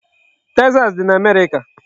Texas dị n'Amerịka.